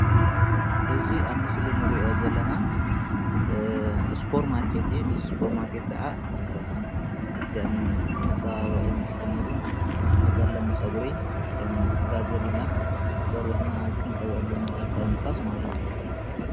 እዚ ኣብ ምስሊ ንሪኦ ዘለና ሱፐር ማርኬት እዩ። እዚ ሱፐር ማርኬት ከዓ ከም መፀባበቂ ንጥቀመሉ ከም መፀለሚ ፀጉሪ፣ ባዘሊና ቆርብትና ክንቀብኣሉ ንክእል ካብ ንፋስ።